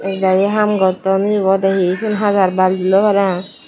ek dagi ham gotton uyobo ode hi ugun hajar balti loi parang.